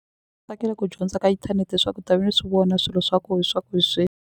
Tsakela ku dyondza ka internet swa ku ta ve ni swi vona swilo swa ko swa ku hi .